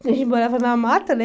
A gente morava na mata, né?